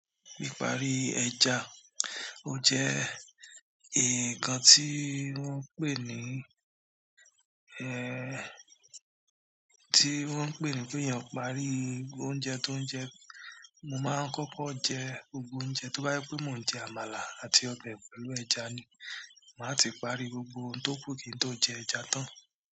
Pípari ẹja ó jẹ́ nǹkan tí wọ́n ń pè ní, ẹ, tí wọ́n ń pè ní pé eeyan àn parí oúnjẹ tó ń jẹ. Mo máa ń kọ́kọ́ jẹ gbogbo oúnjẹ, tó bá yé pé mo ń jẹ àmàlà àti ọbẹ̀ pẹ̀lú ẹja ni, màá ti parí gbogbo ohun tó kù kí n tó jẹ ẹja tán.